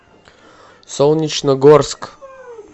солнечногорск